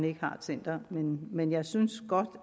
ikke har et center men jeg synes godt